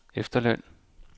efterløn